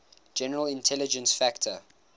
general intelligence factor